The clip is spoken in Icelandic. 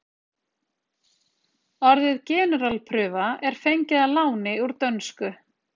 orðið generalprufa er fengið að láni úr dönsku